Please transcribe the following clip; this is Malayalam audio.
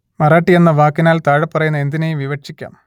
മറാഠി എന്ന വാക്കിനാൽ താഴെപ്പറയുന്ന എന്തിനേയും വിവക്ഷിക്കാം